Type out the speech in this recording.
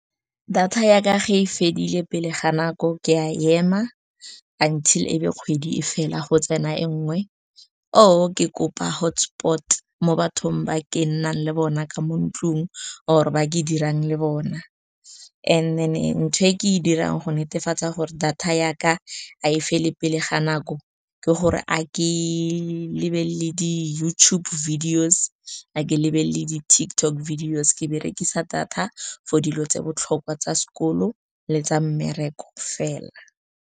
Data yaka ge e fedile pele ga nako, ke a ema until e be kgwedi e fela go tsena e nngwe, or ke kopa hotspot mo bathong ba ke nnang le bona ka mo ntlong, or ba ke dirang le bona. And then ntho e ke e dirang go netefatsa gore data yaka ga e le pele ga nako ke gore a ke lebelele di-YouTube videos, a ke lebelele di-TikTok videos, ke berekisa data for dilo tse botlhokwa tsa sekolo le tsa mmereko fela.